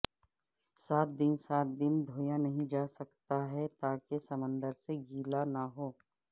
سات دن سات دن دھویا نہیں جاسکتا ہے تاکہ سمندر سے گیلا نہ ہو